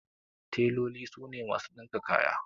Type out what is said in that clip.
Teloli su ne masu ɗinka kaya.